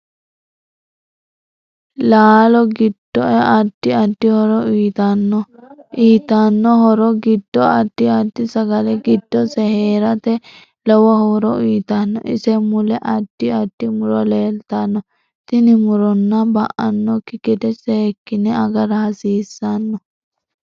Laalo giddoae addi addi horo uyiitanno uyiitanno horo giddo addi addi sagale giddose heeratte lowo horo uyiitanno ise mule addi addi muro leelatanno tini muronno ba'nooki gede seekine agara hasiisanno